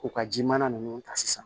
K'u ka ji mana nunnu ta sisan